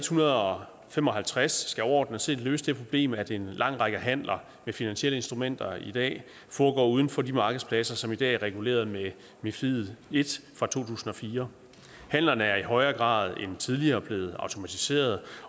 hundrede og fem og halvtreds skal overordnet set løse det problem at en lang række handler med finansielle instrumenter i dag foregår uden for de markedspladser som i dag er reguleret med mifid i i fra to tusind og fire handlerne er i højere grad end tidligere blevet automatiseret